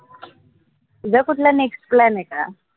तुझा कुठला next plan का?